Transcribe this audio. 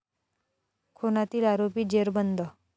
खूनातील आरोपी जेरबंद